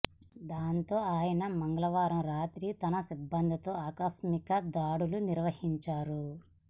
దాంతో ఆయన మంగళవారం రాత్రి తన సిబ్బందితో ఆకస్మిక దాడులు నిర్వహించారు